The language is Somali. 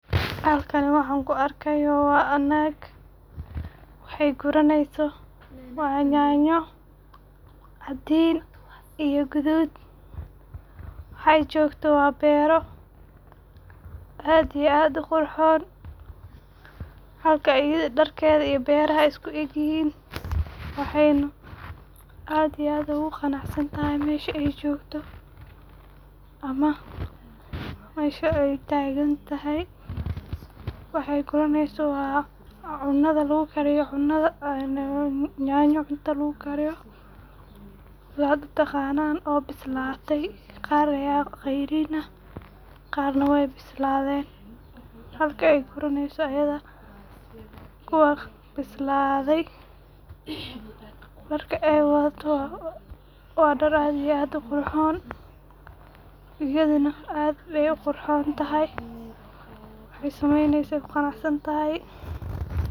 Halkaani waxa ankuu arkayoo waa nag waxey guraneyso waa yanyo cadiin iyo gaduud waxey jogto waa beero aad iyo aad uu qurxon halka iyadaa dharkeeda iyo beraha isku egyihiin waxeyna aad iyo aad ogu qanacsaan tahay meshaa ey jogto ama meshaa ey tagan tahay. waxey guraneysoo waa waa cunadaa laguu kariyoo cunadaa een een yanyo cunta lagu kaariyo saad uu taqanaan oo bislaatay qaar aya qeyriin aah qarnaa wey bislaaden halkaa ey guraneyso iyada kuwa bisladaay. dhaarka eey wadaato waa dhaar aad iyo aad uu qurxon iyadiina aad ayey uu qurxon tahay waxey sameyneyso kuu qanacsan tahay.